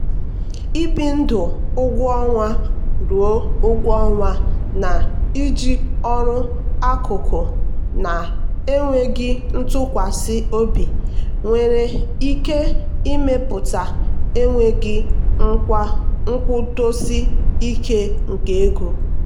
ibi ndụ ụgwọ ọnwa ruo ụgwọ ọnwa na-iji ọrụ akụkụ na-enweghị ntụkwasị obi nwere ike ịmepụta enweghị nkwụdosi ike nke ego.